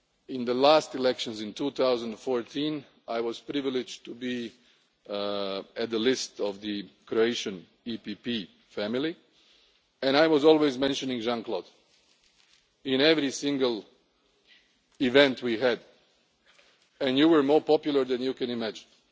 lists. In the last elections in 2014 I was privileged to be on the list of the Croatian EPP family and I was always mentioning Jean Claude at every single event we had and he was more popular than he can imagine!